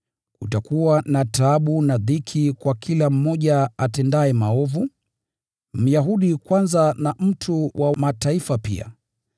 Kutakuwa na taabu na dhiki kwa kila mmoja atendaye maovu, Myahudi kwanza na mtu wa Mataifa pia,